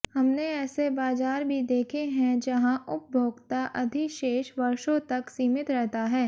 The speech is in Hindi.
हमने ऐसे बाजार भी देखे हैं जहां उपभोक्ता अधिशेष वर्षों तक सीमित रहता है